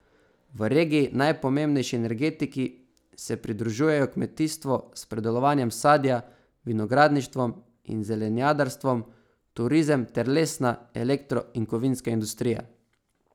V regiji najpomembnejši energetiki se pridružujejo kmetijstvo s pridelovanjem sadja, vinogradništvom in zelenjadarstvom, turizem ter lesna, elektro in kovinska industrija.